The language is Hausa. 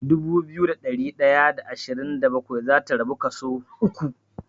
Dubu biyu da ɗari ɗaya da ashirin da bakwai zata rabu kaso uku.